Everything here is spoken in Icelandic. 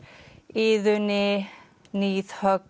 Iðunni